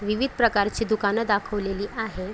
विविध प्रकारची दुकान दाखवलेली आहे.